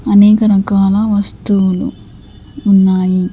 అనేక రకాల వస్తువులు ఉన్నాయి.